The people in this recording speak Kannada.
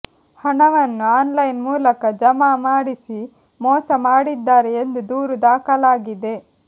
ಹಣವನ್ನು ಆನ್ಲೈನ್ ಮೂಲಕ ಜಮಾ ಮಾಡಿಸಿ ಮೋಸ ಮಾಡಿದ್ದಾರೆ ಎಂದು ದೂರು ದಾಖಲಾಗಿದೆ